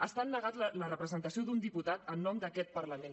estan negant la representació d’un diputat en nom d’aquest parlament